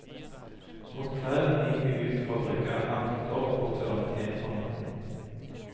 Mot kvelden gikk vi ut fra brygga, ankret opp og tørnet inn for natten.